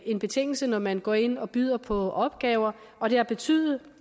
en betingelse når man går ind og byder på opgaver og det har betydet